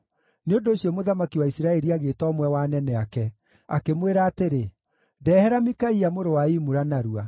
Nĩ ũndũ ũcio mũthamaki wa Isiraeli agĩĩta ũmwe wa anene ake, akĩmwĩra atĩrĩ, “Ndehera Mikaia mũrũ wa Imula narua.”